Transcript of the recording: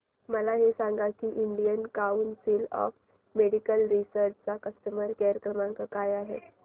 मला हे सांग की Indian Council of Medical Research चा कस्टमर केअर क्रमांक काय आहे